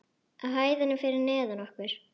Á hæðinni fyrir neðan okkur.